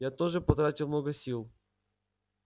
я тоже потратил много сил